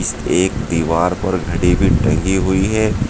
एक दीवार पर घड़ी भी टंगी हुई है।